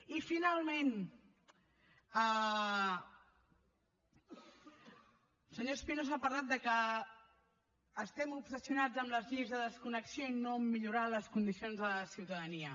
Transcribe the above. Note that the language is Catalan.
i finalment el senyor espinosa ha parlat que estem obsessionats amb les lleis de desconnexió i no a millorar les condicions de la ciutadania